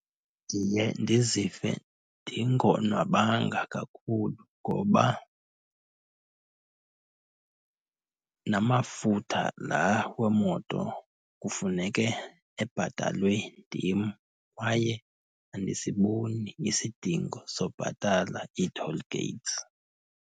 Ndiye ndizive ndingonwabanga kakhulu ngoba namafutha laa wemoto kufuneke ebhatalwe ndim kwaye andisiboni isidingo sobhatala i-toll gates.